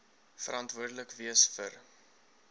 verantwoordelik wees vir